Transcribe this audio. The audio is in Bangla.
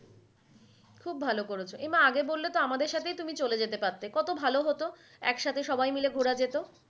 খুব ভালো করেছো। এ মা আগে বললে তো আমাদের সাথেই চলে যেতে পড়তে। কত ভালো হত একসাথে সবাই মিলে ঘুরা যেত।